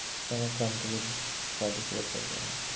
country participate করতে পারবে।